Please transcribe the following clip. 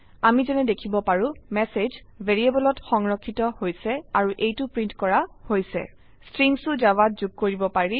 আমি যেনে দেখিব পাৰো ম্যাসেজ ভ্যাৰিয়েবলত সংৰক্ষিত হৈছে আৰু এইটো প্ৰিন্ট কৰা হৈছে স্ট্ৰিংসও জাভাত যোগ কৰিব পাৰি